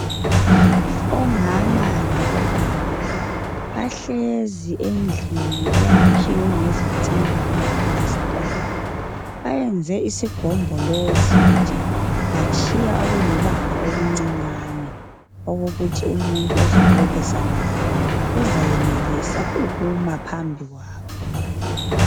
Omama labobaba bahlezi endlini eyakhiwe ngezitina ingaplastwanga. Bayenze isigombolozi nje batshiya okulibanga okuncinyane okokuthi umuntu ozoxoxisana labo uzayenelisa ukuma phambili kwabo.